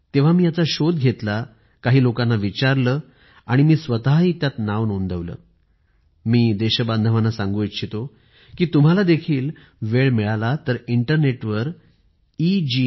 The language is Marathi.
तर मी शोधलं हे काय आहे काही लोकांना विचारले मी स्वतः त्यावर नोंदणी केली आहे मी देश वासियांना सांगू इच्छितो की तुम्हाला सुद्धा अशी संधी मिळाली पाहिजे यासाठी इंटरनेट वर ई